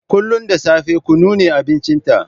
Kullun da safe kunu ne abincinta.